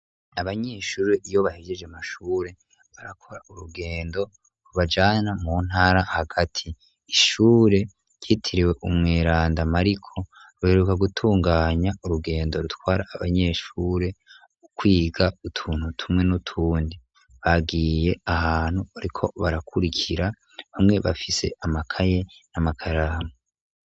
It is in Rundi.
Abanyeshure iyo bahejeje mashure barakora urugendo bubajana mu ntara hagati ishure ryitiriwe umweranda mariko ruheruka gutunganya urugendo rutwara abanyeshure ukwiga utuntu tumwe n'utundi bagiye ahantu, ariko barakurige kira bamwe bafise amakaye n'amakaramu.